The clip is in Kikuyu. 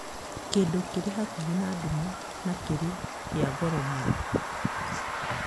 kĩndũ kĩrĩ hakuhĩ na nduma na kĩrĩ kĩa goro mũno